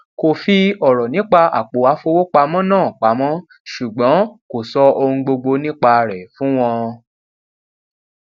kò fi ọrọ nípa àpò àfowópamọ náà pamọ ṣùgbọn kò sọ ohun gbogbo nípa rẹ fún wọn